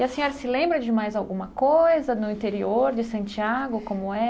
E a senhora se lembra de mais alguma coisa no interior de Santiago, como